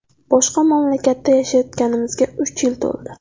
Boshqa mamlakatda yashayotganimizga uch yil to‘ldi.